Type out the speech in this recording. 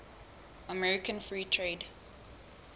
american free trade